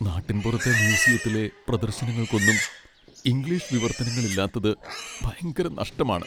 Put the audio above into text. നാട്ടിൻപുറത്തെ മ്യൂസിയത്തിലെ പ്രദർശനങ്ങൾക്കൊന്നും ഇംഗ്ലീഷ് വിവർത്തനങ്ങളില്ലാത്തത് ഭയങ്കര നഷ്ടമാണ്.